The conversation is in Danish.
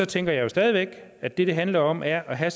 tænker jeg jo stadig væk at det det handler om er at have